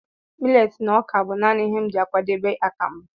Millet na ọka bụ naanị ihe m ji akwadebe akamu.